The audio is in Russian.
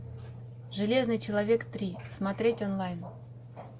железный человек три смотреть онлайн